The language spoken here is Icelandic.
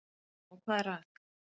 Og hvað er að?